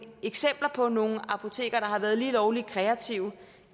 eksempler på nogle apoteker der har været lige lovlig kreative